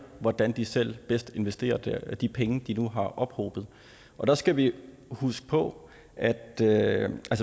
hvordan de selv bedst investerer de penge de nu har ophobet og der skal vi huske på at at